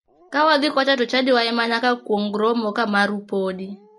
Ka wadhi kocha to chadiwa ema nyaka kuong romo ka marwu podi.